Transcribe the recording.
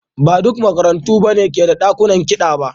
Ba duka makarantu ne ke da dakunan kiɗa ba.